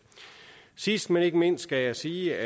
sidst men ikke mindst skal jeg sige